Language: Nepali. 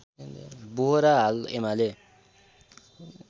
बोहरा हाल एमाले